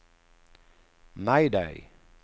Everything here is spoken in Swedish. mayday